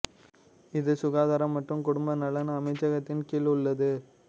இது சுகாதாரம் மற்றும் குடும்ப நலன் அமைச்சகத்தின் கீழ் உள்ளது